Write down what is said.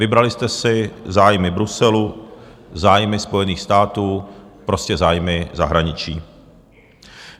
Vybrali jste si zájmy Bruselu, zájmy Spojených států, prostě zájmy zahraničí.